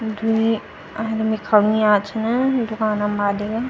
द्वि आदमी खड़ा हुया छिन दुकानम मालिक।